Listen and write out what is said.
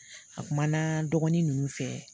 A kuma na dɔgɔnin ninnu fɛ